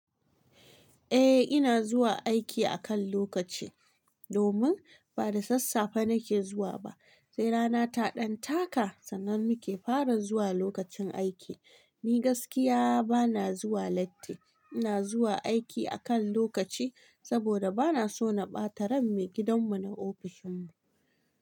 Eh ina zuwa aiki akan lokaci domin ba da sassafe nake zuwa ba sai rana ta ɗan taka sannan nake fara zuwa lokacin aiki. Ni gaskiya bana zuwa latti, ina zuwa aiki akan lokaci saboda bana so na ɓata ran maigidan mu na ofishin mu.